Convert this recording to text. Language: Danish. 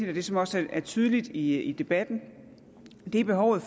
det som også er tydeligt i debatten er behovet